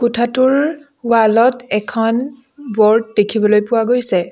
কোঠাটোৰ ৱাল ট এখন ব'ৰ্ড দেখিবলৈ পোৱা গৈছে।